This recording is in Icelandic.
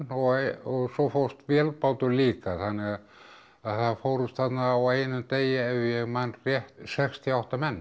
og og svo fórst vélbátur líka þannig að það fórust þarna á einum degi ef ég man rétt sextíu og átta menn